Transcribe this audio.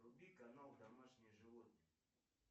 вруби канал домашние животные